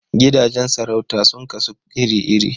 Gidajen sarauta sun kasu iri-iri.